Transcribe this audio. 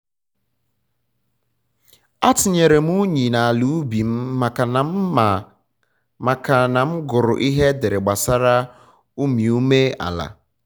atinyere m unyi na ala ubi m maka na m maka na m gụrụ ihe edere gbasara umiume ala